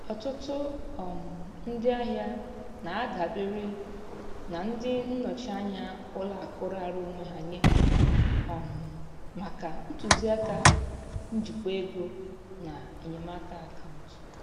Ọtụtụ um ndị ahịa na-adabere na ndị nnọchi anya ụlọ akụ raara onwe ha nye um maka ntụzịaka njikwa ego na enyemaka akaụntụ.